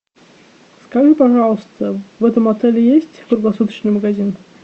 скажи пожалуйста в этом отеле есть круглосуточный магазин